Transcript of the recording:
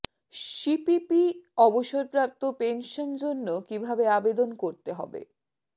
C P P অবসরপ্রাপ্ত pension জন্য কিভাবে আবেদন করতে হবে